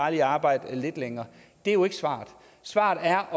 at arbejde lidt længere det er jo ikke svaret svaret er